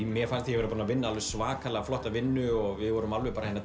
mér fannst ég búinn að vinna svaka flotta vinnu við vorum